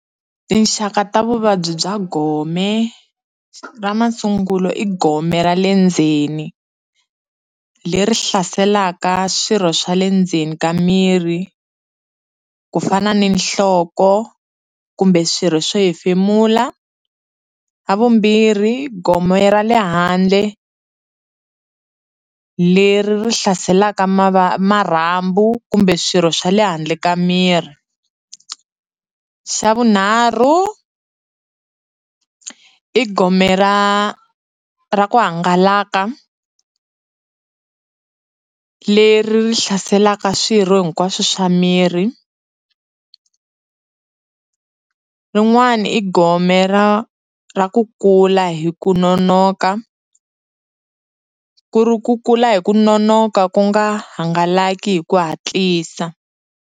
Tinxaka ta vuvabyi bya gome ra masungulo i gome ra le ndzeni leri hlaselaka swirho swa le ndzeni ka miri ku fana ni nhloko kumbe swirho swo hefemula, ra vumbirhi gome ra le handle leri ri hlaselaka marhambu kumbe swirho swa le handle ka miri, xa vunharhu i gome ra ra ku hangalaka leri ri hlaselaka swirho hinkwaswo swa miri rin'wani i gome ra ra ku kula hi ku nonoka ku ri ku kula hi ku nonoka ku nga hangalaki hi ku hatlisa.